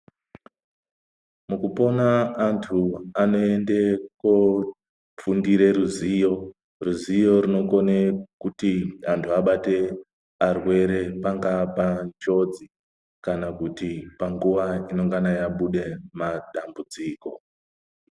Mukupona andu anoende kofundire ruziyo, ruziyo runokone kuti andu abate arwere pangave panjodzi kana kuti panguwa inongana yabuda madambudziko.